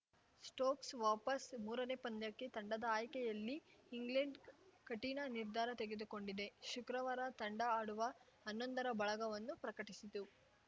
Stokes ವಾಪಸ್‌ ಮೂರನೇ ಪಂದ್ಯಕ್ಕೆ ತಂಡದ ಆಯ್ಕೆಯಲ್ಲಿ ಇಂಗ್ಲೆಂಡ್‌ ಕಠಿಣ ನಿರ್ಧಾರ ತೆಗೆದುಕೊಂಡಿದೆ ಶುಕ್ರವಾರ ತಂಡ ಆಡುವ ಹನ್ನೊಂದರ ಬಳಗವನ್ನು ಪ್ರಕಟಿಸಿತು